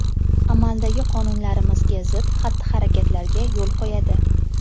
Amaldagi qonunlarimizga zid xatti-harakatlarga yo‘l qo‘yadi.